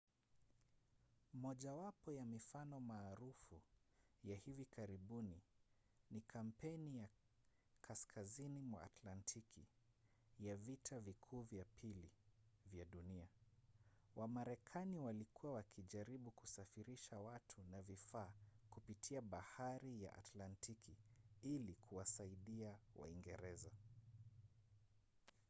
mojawapo ya mifano maarufu ya hivi karibuni ni kampeni ya kaskazini mwa atlantiki ya vita vikuu vya pili vya dunia. wamarekani walikuwa wakijaribu kusafirisha watu na vifaa kupitia bahari ya atlantiki ili kuwasaidia waingereza